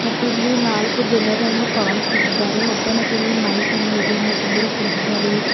ಮತ್ತಿಲ್ಲಿ ನಾಲ್ಕು ಜನರನ್ನು ಕಾಣಿಸುದಿದ್ದಾರೆ ಒಬ್ಬನಿಗಲಿ ಮೈಕ್ ಅನ್ನು ಇದೆ ಮತ್ತೊಬ್ಬರು ಕುಂತಿದ್ದಾರೆ --